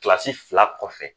Kilasi fila kɔfɛ